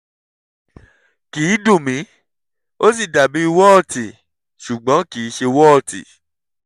kì í dùn mí ó sì dàbí wọ́ọ̀tì ṣùgbọ́n kì í ṣe wọ́ọ̀tì